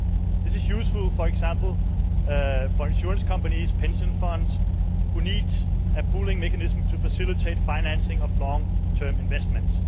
This is useful, for example, for insurance companies and pension funds which need a pooling mechanism to facilitate the financing of long-term investments.